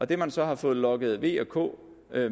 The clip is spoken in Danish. det man så har fået lokket v og k